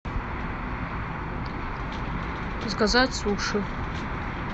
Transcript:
заказать суши